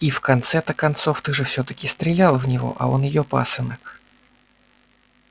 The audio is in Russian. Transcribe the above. и в конце-то концов ты же всё-таки стрелял в него а он её пасынок